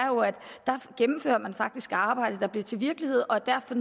at man faktisk arbejdet der bliver til virkelighed og derfor